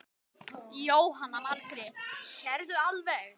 Jóhanna Margrét: Sérðu alveg?